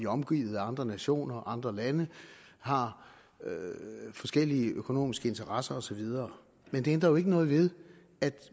omgivet af andre nationer og andre lande har forskellige økonomiske interesser og så videre men det ændrer jo ikke noget ved at